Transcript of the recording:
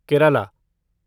Kerala